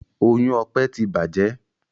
Oyún Ọpẹ tí bàjé.